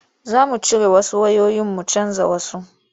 Za mu cire wasu wayoyin mu canja wasu.